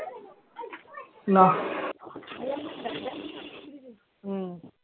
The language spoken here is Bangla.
নাহ উম